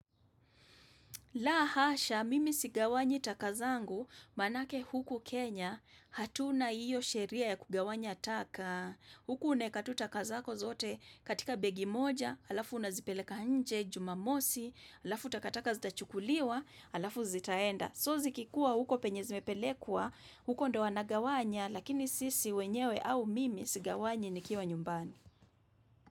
La hasha, mimi sigawanyi taka zangu, maanake huku Kenya, hatuna hiyo sheria ya kugawanya taka. Huku unaeka tu taka zako zote katika begi moja, alafu unazipeleka nje, jumamosi, alafu takataka zitachukuliwa, alafu zitaenda. So zikikuwa huko penye zimepelekwa, huko ndo wanagawanya, lakini sisi wenyewe au mimi sigawanyi nikiwa nyumbani.